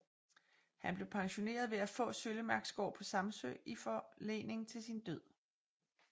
Han blev pensioneret ved at få Søllemarksgård på Samsø i forlening til sin død